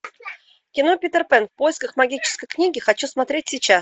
кино питер пэн в поисках магической книги хочу смотреть сейчас